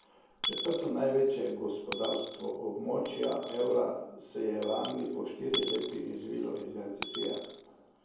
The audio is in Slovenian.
Četrto največje gospodarstvo območja evra se je lani po štirih letih izvilo iz recesije.